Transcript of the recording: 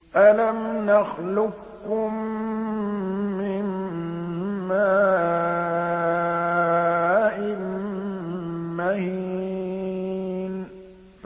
أَلَمْ نَخْلُقكُّم مِّن مَّاءٍ مَّهِينٍ